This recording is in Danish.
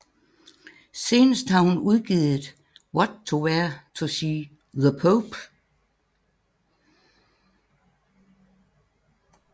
Senest har hun udgivet What to Wear to see the Pope